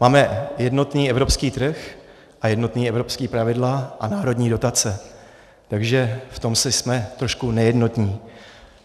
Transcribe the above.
Máme jednotný evropský trh a jednotná evropská pravidla a národní dotace, takže v tom si jsme trošku nejednotní.